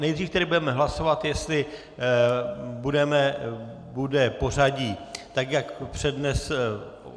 Nejdřív tedy budeme hlasovat, jestli bude pořadí tak jak přednesl...